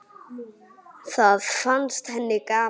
Það fannst henni gaman.